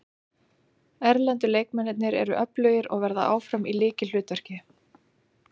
Erlendu leikmennirnir eru öflugir og verða áfram í lykilhlutverki.